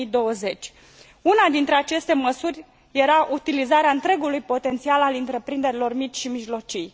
2020. Una dintre aceste măsuri era utilizarea întregului potențial al întreprinderilor mici și mijlocii.